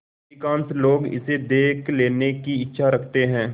अधिकांश लोग इसे देख लेने की इच्छा रखते हैं